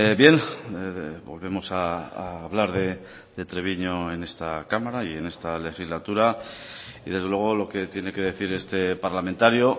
bien volvemos a hablar de treviño en esta cámara y en esta legislatura y desde luego lo que tiene que decir este parlamentario